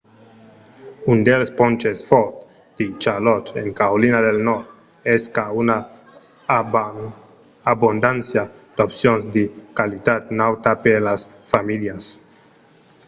un dels ponches fòrts de charlotte en carolina del nòrd es qu'a una abondància d'opcions de qualitat nauta per las familhas